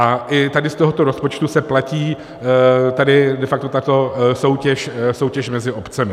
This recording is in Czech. A i tady z tohoto rozpočtu se platí tady de facto tato soutěž mezi obcemi.